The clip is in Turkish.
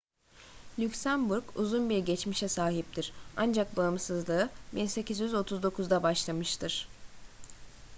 lüksemburg uzun bir geçmişe sahiptir ancak bağımsızlığı 1839'da başlamıştır